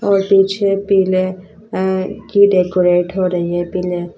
और पीछे पीले अं की डेकोरेट हो रही है पीले।